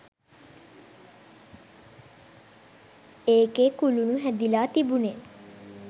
ඒකෙ කුළුණු හැදිලා තිබුණෙ